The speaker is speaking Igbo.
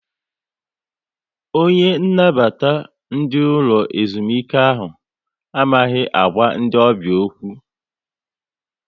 Onye nnabata ndị ụlọ ezumike ahụ amaghị agwa ndị ọbịa okwu